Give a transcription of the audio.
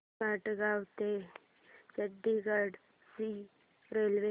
मडगाव ते चंडीगढ ची रेल्वे